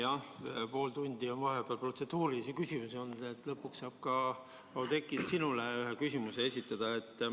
Jah, pool tundi on vahepeal protseduurilisi küsimusi olnud, aga lõpuks saab ka, Oudekki, sinule ühe küsimuse esitada.